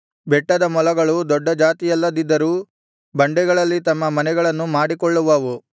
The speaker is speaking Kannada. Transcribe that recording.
ಬೆಟ್ಟದ ಮೊಲಗಳು ದೊಡ್ಡ ಜಾತಿಯಲ್ಲದಿದ್ದರೂ ಬಂಡೆಗಳಲ್ಲಿ ತಮ್ಮ ಮನೆಗಳನ್ನು ಮಾಡಿಕೊಳ್ಳುವವು